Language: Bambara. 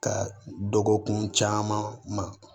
Ka dɔgɔkun caman ma